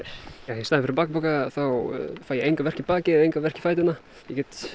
í staðinn fyrir bakpoka þá fæ ég enga verki í bakið enga verki í fæturnar get